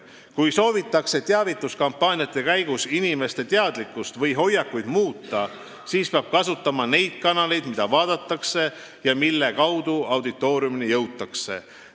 Kui teavituskampaania käigus soovitakse muuta inimeste teadlikkust või hoiakuid, siis peab kasutama neid kanaleid, mida vaadatakse ja mille kaudu auditooriumini jõutakse.